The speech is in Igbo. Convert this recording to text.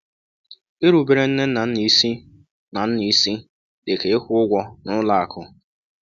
Irubere nne na nna isi na nna isi dị ka ịkwụ ụgwọ n’ụlọ akụ.